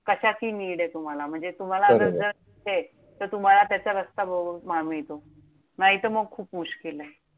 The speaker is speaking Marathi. कशाची need आहे तुम्हाला? म्हणजे बरोबर! तुम्हाला असंच तर तुम्हाला त्याचा रस्ता बरोबर मिळतो. नाहीतर मग खूप मुश्किलेय.